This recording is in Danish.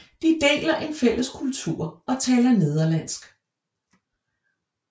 De deler en fælles kultur og taler nederlandsk